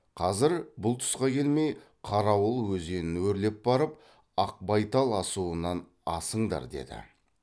қазір бұл тұсқа келмей қарауыл өзенін өрлеп барып ақбайтал асуынан асыңдар деді